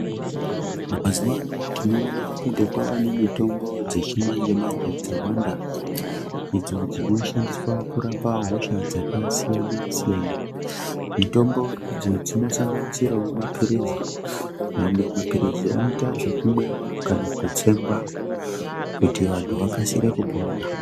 Mazuwa anaa tinoona kuti kwava nemitombo dzechimanje manje dzawanda idzo dzinoshandiswa kurapa hosha dzakasiyana-siyana. Mitombo idzi dzinosanganisirawo mapirizi, mamwe mapirizi anoita zvekumwiwa kana kutsengwa kuti vanthu vakasire kupona.